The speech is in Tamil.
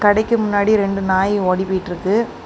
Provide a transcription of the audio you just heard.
கடைக்கு முன்னாடி ரெண்டு நாய் ஓடி போய்ட்டிருக்கு.